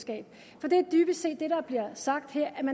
sig